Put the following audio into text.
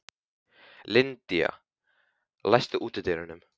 Lydia, læstu útidyrunum.